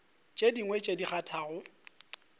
tše dingwe tše di kgathago